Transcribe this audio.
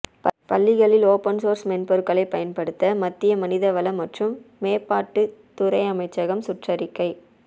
பள்ளிகளில் open source மென்பொருள்களை பயன்படுத்த மத்திய மனிதவள மற்றும் மேம்பாட்டுத் துறை அமைச்சகம் சுற்றறிக்கை